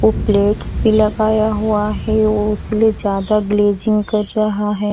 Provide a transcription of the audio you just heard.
वो प्लेट्स भी लगाया हुआ है वो इसलिए ज्यादा ग्लेजिंग कर रहा है।